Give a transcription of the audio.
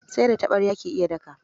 Sai da taɓarya ake iya daka.